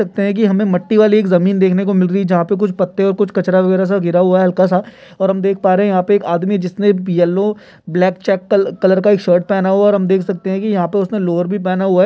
लगता है कि हमे मट्टी वाली एक जमीन देखने को मिल रही है जहां पे कुछ पत्ते और कुछ कचरा वगैरा सब गिरा हुआ है हल्का सा और हम देख पा रहे है यहाँ पे एक आदमी जिसने येलो ब्लैक चेक कल-कलर का शर्ट पहना हुआ है और हम देख सकते है कि यहां पे उसने लोअर भी पहना हुआ है।